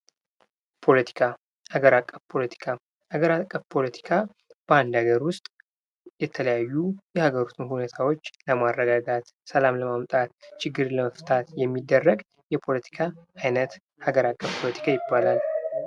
ፖለቲካ፦ ሀገር አቀፍ ፖለቲካ፦ በአንድ አገር ውስጥ የተለያዩ የሀገር ውስጥ ሁኔታዎች ለማረጋጋት፣ ሰላም ለማምጣት፣ ችግርን ለመፍታት የሚደረግ የፖለቲካ አይነት የሀገር ፖለቲካ ይባላል።